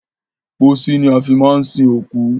Pósí ni a fi máa ń sin òkú.